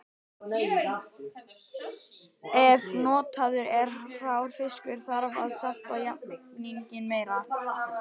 Ef notaður er hrár fiskur þarf að salta jafninginn meira.